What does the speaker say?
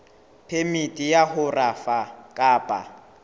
phemiti ya ho rafa kapa